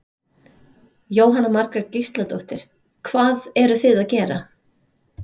Jóhanna Margrét Gísladóttir: Hvað eruð þið að gera?